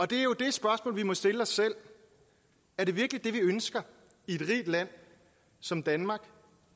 det er jo det spørgsmål vi må stille os selv er det virkelig det vi ønsker i et rigt land som danmark